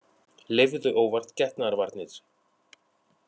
Leyfðu óvart getnaðarvarnir